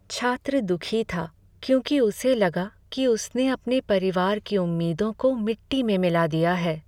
छात्र दुखी था क्योंकि उसे लगा कि उसने अपने परिवार की उम्मीदों को मिट्टी में मिला दिया है।